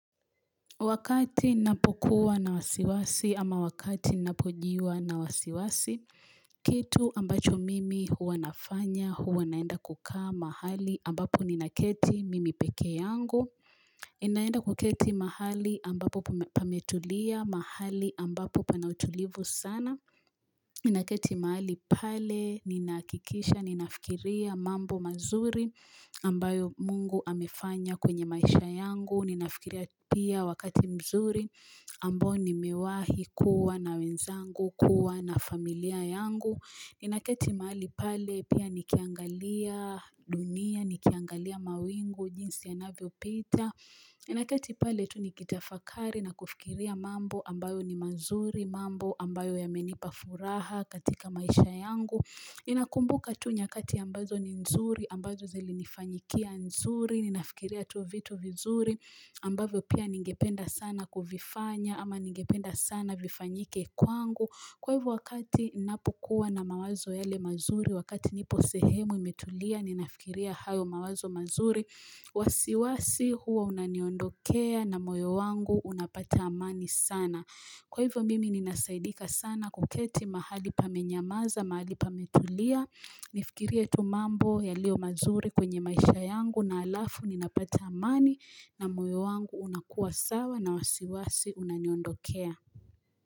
Wakati napo kuwa na wasiwasi ama wakati napojiwa na wasiwasi, kitu ambacho mimi huwa nafanya, huwa naenda kukaa mahali ambapo ninaketi mimi pekee yangu, ninaenda kuketi mahali ambapo pametulia, mahali ambapo pana utulivu sana, ninaketi mahali pale, ninahakikisha, ninafikiria mambo mazuri ambayo mungu amefanya kwenye maisha yangu, Ninafikiria pia wakati mzuri ambao nimewahi kuwa na wenzangu, kuwa na familia yangu Ninaketi mahali pale pia nikiangalia dunia, nikiangalia mawingu, jinsi ya navyopita Ninaketi pale tu nikitafakari na kufikiria mambo ambayo ni mazuri mambo ambayo yamenipa furaha katika maisha yangu Ninakumbuka tu nyakati ambazo ni mzuri, ambazo zilinifanyikia nzuri Ninafikiria tu vitu vizuri ambavyo pia ningependa sana kuvifanya ama ningependa sana vifanyike kwangu. Kwa hivyo wakati ninapokuwa na mawazo yale mazuri wakati nipo sehemu imetulia ninafikiria hayo mawazo mazuri wasiwasi huo unaniondokea na moyo wangu unapata amani sana. Kwa hivyo mimi ninasaidika sana kuketi mahali pamenyamaza mahali pametulia nifikirie tubmambo yaliyo mazuri kwenye maisha yangu na alafu ninapata amani na moyo wangu unakuwa sawa na wasiwasi unaniondokea.